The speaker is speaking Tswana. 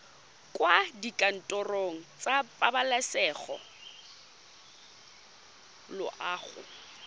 kwa dikantorong tsa pabalesego loago